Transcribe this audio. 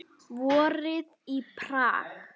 Vorið í Prag